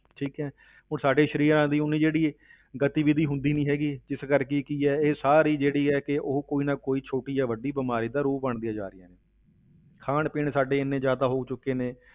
ਠੀਕ ਹੈ ਹੁਣ ਸਾਡੇ ਸਰੀਰਾਂ ਦਾ ਉਨੀ ਜਿਹੜੀ ਗਤੀਵਿਧੀ ਹੁੰਦੀ ਨੀ ਹੈਗੀ, ਜਿਸ ਕਰਕੇ ਕੀ ਹੈ ਇਹ ਸਾਰੀ ਜਿਹੜੀ ਹੈ ਕਿ ਉਹ ਕੋਈ ਨਾ ਕੋਈ ਛੋਟੀ ਜਾਂ ਵੱਡੀ ਬਿਮਾਰੀ ਦਾ ਰੂਪ ਬਣਦੀਆਂ ਜਾ ਰਹੀਆਂ ਨੇ ਖਾਣ ਪੀਣ ਸਾਡੇ ਇੰਨੇ ਜ਼ਿਆਦਾ ਹੋ ਚੁੱਕੇ ਨੇ,